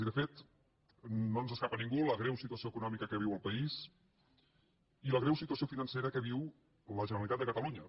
i de fet no escapa a ningú la greu situació econòmica que viu el país ni la greu situació financera que viu la generalitat de catalunya